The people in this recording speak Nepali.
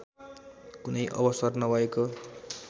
कुनै अवसर नभएको